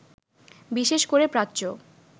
বিশেষ করে প্রাচ্য